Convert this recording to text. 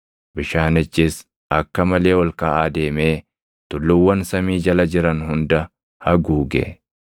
Bishaanichis akka malee ol kaʼaa deemee tulluuwwan samii jala jiran hunda haguuge.